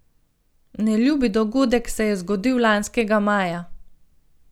Neljubi dogodek se je zgodil lanskega maja.